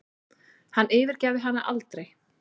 Hann yfirgæfi hana aldrei.